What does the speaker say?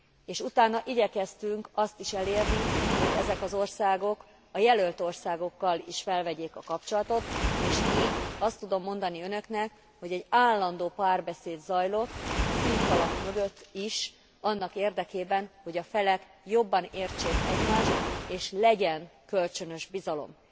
És utána igyekeztünk azt is elérni, hogy ezek az országok a jelölt országokkal is fölvegyék a kapcsolatot és így, azt tudom mondani Önöknek, hogy egy állandó párbeszéd zajlott a színfalak mögött is annak érdekében, hogy a felek jobban értsék egymást és legyen kölcsönös bizalom.